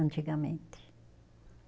Antigamente.